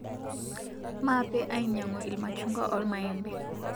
Mape ainyangu lmachungua olmaembe